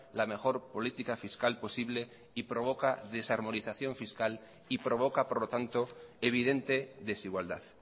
la mejor política fiscal posible y provoca desarmonización fiscal y provoca por lo tanto evidente desigualdad